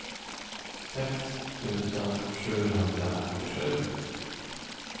sex tusen sjuhundraåttiosju